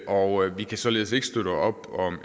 og vi kan således ikke støtte op om